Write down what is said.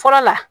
Fɔlɔ la